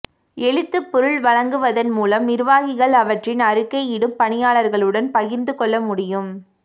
எழுத்துப் பொருள் வழங்குவதன் மூலம் நிர்வாகிகள் அவற்றின் அறிக்கையிடும் பணியாளர்களுடன் பகிர்ந்து கொள்ள முடியும்